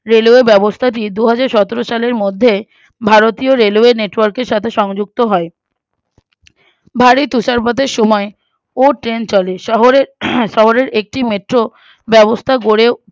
railway ব্যৱস্থা নিয়ে দুহাজারসতেরো সালের মধ্যে ভারতীয় railway network এর সাথে সংযুক্ত হয় ভারী তুষারপাতের সময়ে ও train চলে শহরে হম শহরের একটি metro ব্যবস্থা গড়ে